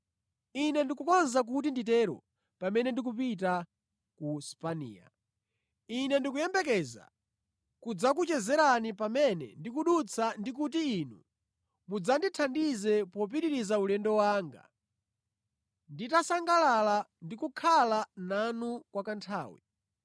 Ine ndikukonza kuti nditero pamene ndipita ku Spaniya. Ine ndikuyembekeza kudzakuchezerani pamene ndikudutsa ndi kuti inu mudzathandize popitiriza ulendo wanga, nditasangalala ndi kukhala nanu kwa kanthawi.